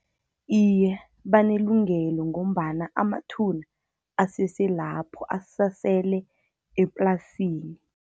Iye, banelungelo, ngombana amathuna asese lapho, asasele eplasini.